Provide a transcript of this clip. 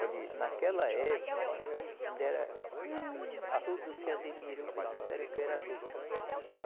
Olhe, naquela época, ainda era, iih, todos se admirou e disseram que eu era louco.